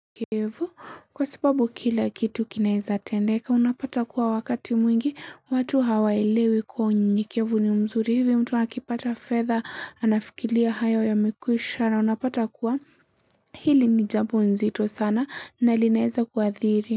Kevu kwa sababu kila kitu kinaeza tendeka unapata kuwa wakati mwingi watu hawaelewi kuwa unyenyekevu ni mzuri hivi mtu akipata fedha anafikilia hayo yamekwisha na unapata kuwa hili nijambo nzito sana na linaeza kuathiri.